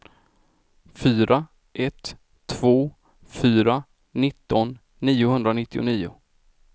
fyra ett två fyra nitton niohundranittio